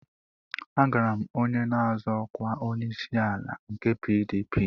Agara m onye na-azọ ọkwa onyeisiala nke PDP